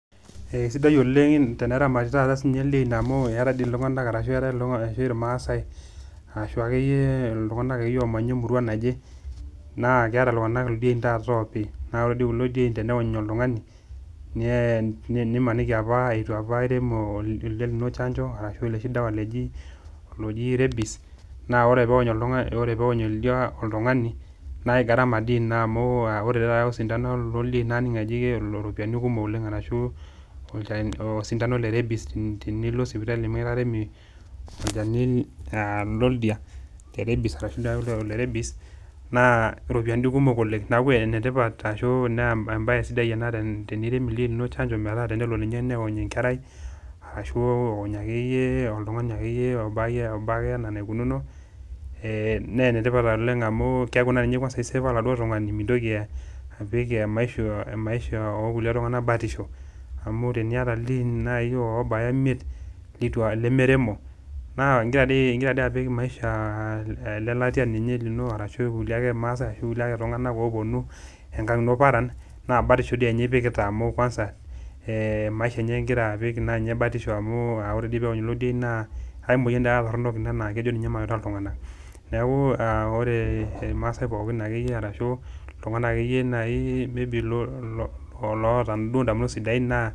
Sidai oleng' teneramati dei sininche taata ildiein amu, eata dii taata iltung'anak ashu ilmaasai, aashu ake iyie iltung'ana oomanya emurua naje, naa keata iltung'ana taata ildiein oopi, naa ore kulo diein teneony oltug'ani nemaniki eitu irem oldia lino opa chanjo, ashu oloshi dawa looji rebies, naa ore pee eony oldia oltung'ani, naa gharama di ina amu ore taata osidano loldiein naning' ajo iropiani kumok arashu osindano le rebies tini lo sipitali mekitaremi, olchani loldia, le rebies, naa iropiani kumok oleng'. Neaku enetipat naa embaye sidai ena tenirem ildiein linono chanjo metaa tenelo niye neony enkerai ashu eony ake iyie oltung'ani lobaa ake iyie anaa eneikununo naa ene tipat oleng' amu keaku naa eisefo oladuo tung'ani. Mintoki apik emaisho oo kulie tung'ana batisho. Amu teniata naaji ildiein obaya imiet, lemeremo naa ingira dei apik maisha le latia lino arashu ilkulie ake maasai arashu ilkulie tung'ana oopuonu oopuonu paran, naa batisho enye dei ipikita amu kwasa, maisha enye ing'ira apik batisho amu ore dei peony kulo dien naa ai moyian dii ina torono naa tulng'ana. Neaku ore aake iyie iltung'ana ashu ake iyyie ilmaasai maybe iloata duo indamunoot sidain naa